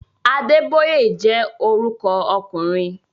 Adébóyè jẹ́ orúkọ ọkùnrin